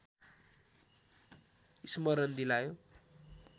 स्मरण दिलायो